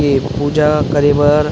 ए पूजा करे बर